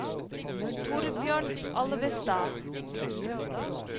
Thorbjørn Alvestad